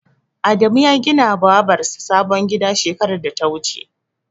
Adamu ya gina wa Babar sa sabon gida shekarar da ta wuce